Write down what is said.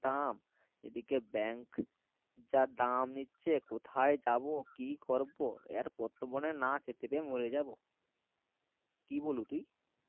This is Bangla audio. দাম এদিকে bank যা দাম নিচ্ছে কোথায় যাবো কি করবো এর পোর্তবনে না খেতে পেয়ে মরে যাবো কি ব্লু তুই